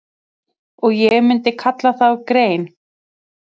Og ég myndi kalla þá grein